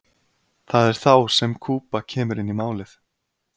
það er þá sem kúba kemur inn í málið